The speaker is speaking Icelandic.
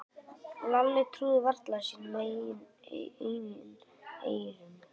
Lalli trúði varla sínum eigin eyrum.